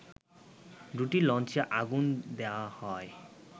দুটি লঞ্চে আগুন দেয়া হয়